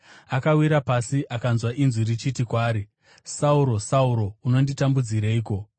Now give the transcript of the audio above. Akawira pasi akanzwa inzwi richiti kwaari, “Sauro, Sauro, unonditambudzireiko?”